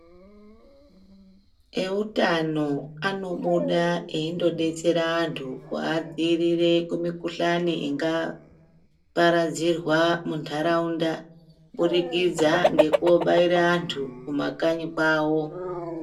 Eutano anobuda eindobetsera vantu kuvadzirire kumukuhlani ingaparadzirwa munturaunda. Kubudikidza ngekobaire antu kumakanyi kwavo.